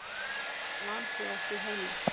Hvaða land er það vanþróaðasta í heimi?